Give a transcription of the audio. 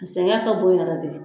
A sɛngɛ ka bon yɛrɛ de.